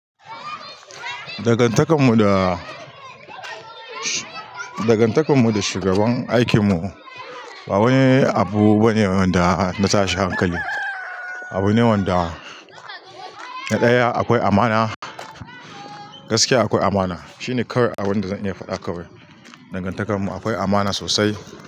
Dangantakar mu da, dangantakar mu da shugaban aikin mu ba wani abu bane wanda na tashi hankali. Abu ne wanda na ɗaya akwai amana, gaskiya akwai amana. Shine kawai abun da zan iya faɗa kawai. Dangantakar mu akwai amana sosai.